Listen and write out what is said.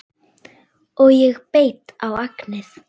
Og ég beit á agnið